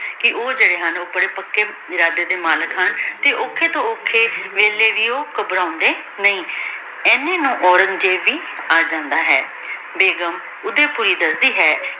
ਕੇ ਊ ਜੇਰੀ ਹਨ ਬਾਰੇ ਪੱਕੀ ਇਰਾਡੀ ਦੇ ਮਲਿਕ ਹਨ ਤੇ ਓਖਾਯ ਤੋਂ ਓਖਾਯ ਵੀਲਾਯ ਵੀ ਊ ਘਬ੍ਰਾੰਡੀ ਨਹੀ ਏਹਨੀ ਨੂ ਔਰੇਨ੍ਗ੍ਜ਼ੇਬ ਵੀ ਏਜੰਡਾ ਹੈ ਬੇਗੁਮ ਓਡੀ ਕੋਲ ਦਸਦੀ ਹੈ